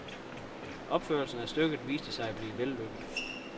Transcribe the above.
Opførelsen af stykket viste sig at blive vellykket.